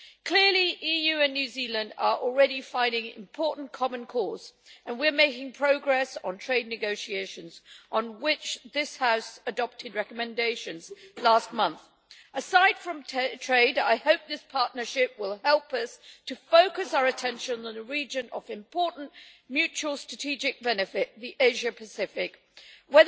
Clearly, the EU and New Zealand are already finding an important common cause and we are making progress on trade negotiations on which this House adopted recommendations last month. Aside from trade, I hope this partnership will help us to focus our attention on a region of important mutual strategic benefit the Asia Pacific region.